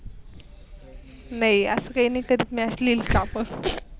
नाही अस काही कधी नसलेली